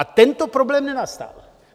A tento problém nenastal.